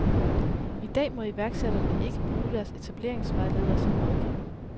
I dag må iværksætterne ikke bruge deres etableringsvejleder som rådgiver.